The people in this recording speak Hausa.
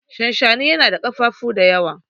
shanshani yana na kafafuwa da yawa